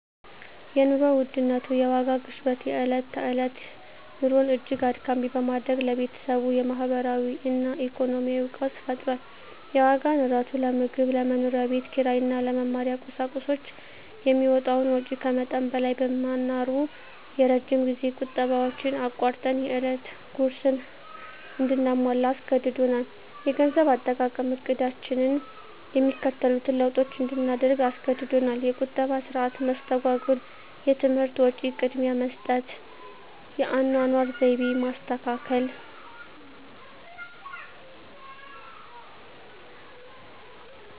የኑሮ ውድነት (የዋጋ ግሽበት) የዕለት ተዕለት ኑሮን እጅግ አድካሚ በማድረግ ለቤተሰቡ የማህበራዊ እና ኢኮኖሚያዊ ቀውስ ፈጥሯል። የዋጋ ንረቱ ለምግብ፣ ለመኖሪያ ቤት ኪራይ እና ለመማሪያ ቁሳቁሶች የሚወጣውን ወጪ ከመጠን በላይ በማናሩ፣ የረጅም ጊዜ ቁጠባዎችን አቋርጠን የዕለት ጉርስን እንድናሟላ አስገድዶናል። -የገንዘብ አጠቃቀም ዕቅዳችንን የሚከተሉትን ለውጦች እንድናደርግ አስገድዶናል -የቁጠባ ሥርዓት መስተጓጎል -የትምህርት ወጪ ቅድሚያ መስጠት -የአኗኗር ዘይቤ ማስተካከል